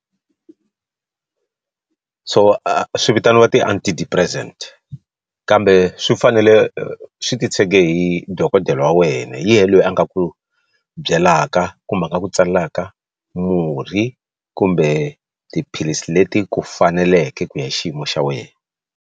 So a swi vitaniwa ti Anti-Depressant kambe swi fanele swi titshege hi dokodela wa wena hi yena loyi a nga ku byelaka kumbe a nga ku tsalaka murhi kumbe tiphilisi leti ku faneleke ku ya hi xiyimo xa wena.